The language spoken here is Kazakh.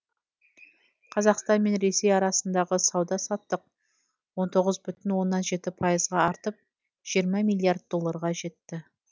қазақстан мен ресей арасындағы сауда саттық он тоғыз бүтін оннан жеті пайызға артып жиырма миллиард долларға жетті